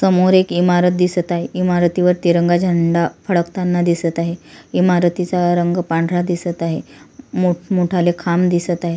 समोर एक इमारत दिसत आहे इमारतीवर तिरंगा झेंडा फडकताना दिसत आहे इमारतीचा रंग पांढरा दिसत आहे मोठ मोठाले खांब दिसत आहे.